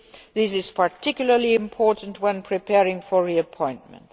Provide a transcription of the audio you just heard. This is particularly important when preparing for reappointment.